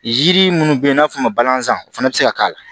Yiri minnu bɛ n'a fɔ malansan fana bɛ se ka k'a la